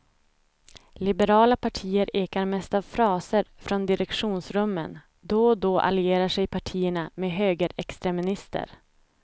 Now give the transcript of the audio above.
Liberala partier ekar mest av fraser från direktionsrummen, då och då allierar sig partierna med högerextremister.